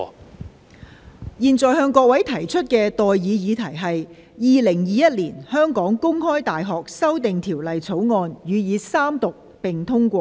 我現在向各位提出的待議議題是：《2021年香港公開大學條例草案》予以三讀並通過。